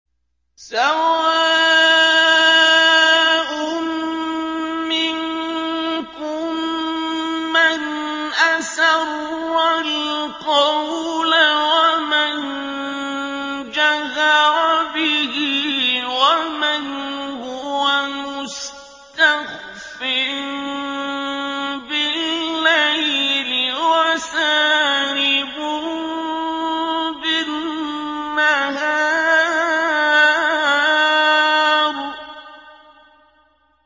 سَوَاءٌ مِّنكُم مَّنْ أَسَرَّ الْقَوْلَ وَمَن جَهَرَ بِهِ وَمَنْ هُوَ مُسْتَخْفٍ بِاللَّيْلِ وَسَارِبٌ بِالنَّهَارِ